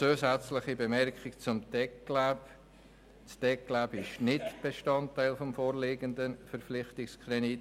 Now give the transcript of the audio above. Eine zusätzliche Bemerkung zum «TecLab» Das «TecLab» ist nicht Bestandteil des vorliegenden Verpflichtungskredits.